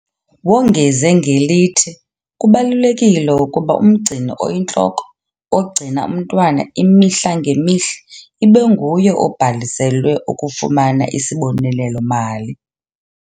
Wongeze ngelithi kubalulekile ukuba umgcini oyintloko, ogcina umntwana imihla ngemihla, ibe nguye obhaliselwe ukufumana isibonelelo-mali.